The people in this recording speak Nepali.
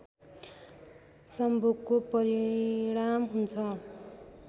संभोगको परिणाम हुन्छ